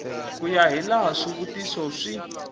ku ya hilaha swivutiso swi